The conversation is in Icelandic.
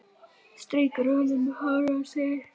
Strýkur honum um hárið og segir: